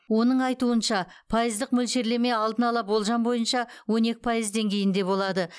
оның айтуынша пайыздық мөлшерлеме алдын ала болжам бойынша он екі пайыз деңгейінде болады